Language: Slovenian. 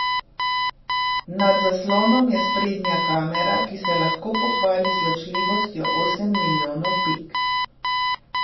Nad zaslonom je sprednja kamera, ki se lahko pohvali z ločljivostjo osem milijonov pik.